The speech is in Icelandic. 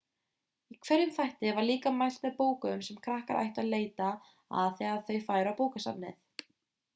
í hverjum þætti var líka mælt með bókum sem krakkar ættu að leita að þegar þau færu á bókasafnið